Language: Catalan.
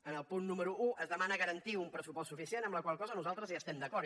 en el punt número un es demana garantir un pressupost suficient amb la qual cosa nosaltres hi estem d’acord